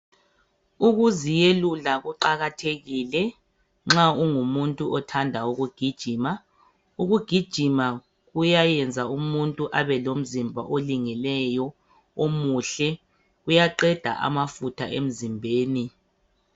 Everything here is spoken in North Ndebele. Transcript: Ukuziyelula kuqakathekile nxa ungumuntu othanda ukugijima. Ukugijima kuyayenza umuntu abe lomzimba olingileyo, omuhle, uyaqeda amafutha emzimbeni.